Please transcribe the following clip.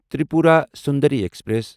Tripura Sundari express